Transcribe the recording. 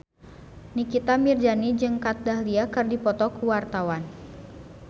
Nikita Mirzani jeung Kat Dahlia keur dipoto ku wartawan